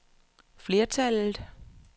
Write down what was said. flertallet